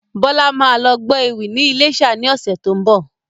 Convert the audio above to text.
Bọlá máa lọ gbọ́ ewì ni ilésà ni ọ̀sẹ̀ tó ń bọ̀